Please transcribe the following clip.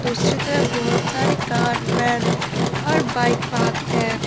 उस जगह बहुत सारी कार वैन और बाइक पार्क है।